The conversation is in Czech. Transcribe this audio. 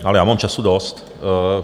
Ale já mám času dost.